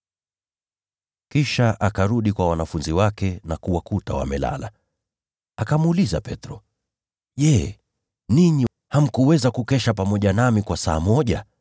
Kisha akarudi kwa wanafunzi wake, akawakuta wamelala. Akamuuliza Petro, “Je, ninyi hamkuweza kukesha pamoja nami hata kwa saa moja?